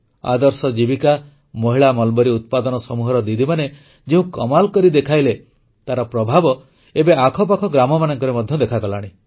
ଆଦର୍ଶ ଜୀବିକା ମହିଳା ମଲବରୀ ଉତ୍ପାଦନ ସମୂହର ଦିଦିମାନେ ଯେଉଁ କମାଲ କରି ଦେଖାଇଲେ ତାର ପ୍ରଭାବ ଏବେ ଆଖପାଖ ଗ୍ରାମମାନଙ୍କରେ ମଧ୍ୟ ଦେଖାଗଲାଣି